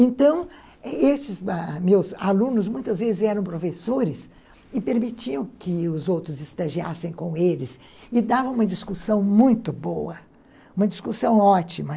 Então, esses ãh meus alunos muitas vezes eram professores e permitiam que os outros estagiassem com eles e dava uma discussão muito boa, uma discussão ótima.